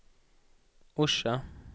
Orsa